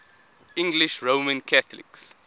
english roman catholics